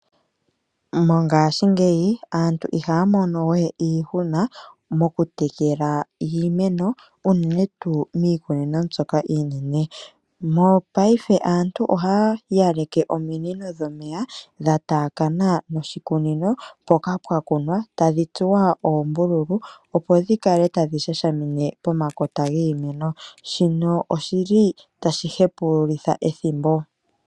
Mongashingeyi aantu ihaya mono we iihuna mokutekela iimeno unene tuu miikunino mbyoka iinene. Mongashingeyi aantu ohaya yaleke ominino dhomeya dhataakana noshikunono mpoka pwakunwa tadhi tsuwa oombululu, opo dhikale tadhi shashamine pomakota giimeno shino oshili tashi hepululitha ethimbo.